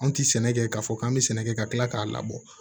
Anw tɛ sɛnɛ kɛ k'a fɔ k'an bɛ sɛnɛ kɛ ka kila k'a labɔ